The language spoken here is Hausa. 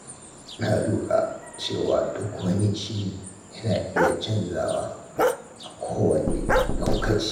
Na lura cewa duk wani shiri yana iya canzawa a kowane lokaci.